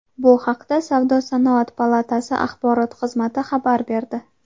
Bu haqda Savdo-sanoat palatasi axborot xizmati xabar berdi.